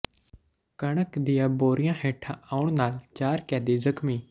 ਕਣਕ ਦੀਆਂ ਬੋਰੀਆਂ ਹੇਠਾਂ ਆਉਣ ਨਾਲ ਚਾਰ ਕੈਦੀ ਜ਼ਖ਼ਮੀ